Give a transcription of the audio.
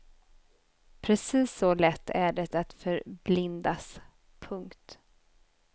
Precis så lätt är det att förblindas. punkt